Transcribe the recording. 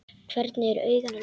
Hvernig eru augun á litinn?